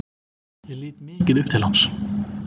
Ég lít mikið upp til hans.